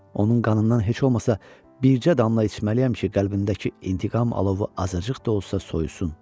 Onun qanından heç olmasa bircə damla içməliyəm ki, qəlbindəki intiqam alovu azacıq da olsa soyusun.